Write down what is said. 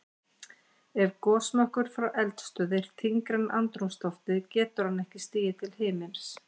Ef gosmökkur frá eldstöð er þyngri en andrúmsloftið getur hann ekki stigið til himins.